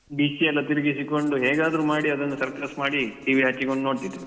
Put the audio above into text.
Dish ಎಲ್ಲ ತಿರುಗಿಸಿಕೊಂಡು ಹೇಗಾದ್ರು ಮಾಡಿ ಅದೊಂದು circus ಮಾಡಿ TV ಹಚ್ಚಿಕೊಂಡು ನೋಡ್ತಿದ್ದೆವು.